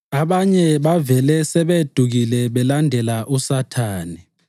Abanye bavele sebedukile balandela uSathane.